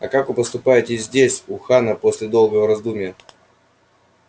а как вы поступаете здесь у хана после долгого раздумья